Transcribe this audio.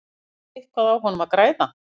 Eitthvað á honum að græða?